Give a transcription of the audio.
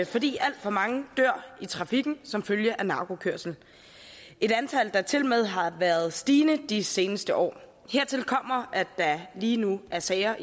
fordi alt for mange dør i trafikken som følge af narkokørsel et antal der tilmed har været stigende de seneste år hertil kommer at der lige nu er sager